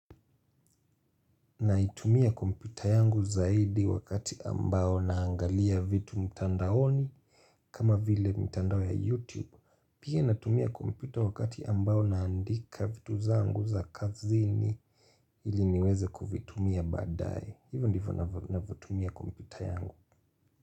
Naitumia komputa yangu zaidi wakati ambao naangalia vitu mtandaoni kama vile mtandao ya YouTube Pia natumia kompyuta wakati ambao naandika vitu zangu za kazini ili niweze kuvitumia badae hivyo ndivyo ninavyotumia kompyuta yangu.